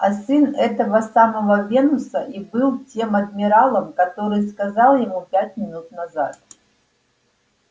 а сын этого самого венуса и был тем адмиралом который сказал ему пять минут назад